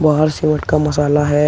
बाहर सीमेंट का मसाला है।